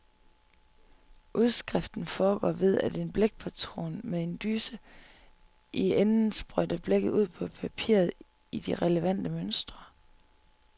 Udskriften foregår ved, at en blækpatron med en dyse i enden sprøjter blækket ud på papiret i de relevante mønstre.